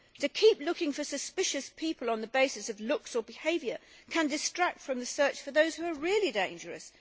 To keep looking for suspicious people on the basis of looks or behaviour can distract from the search for those who are really dangerous.